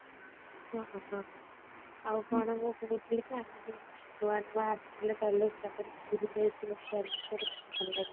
ନୂଆ ନୂଆ ଆସିଥିଲେ college ପାଖରେ ଥିଲେ ସେଟ କେତେ ଭଲ ଲାଗିଥିଲା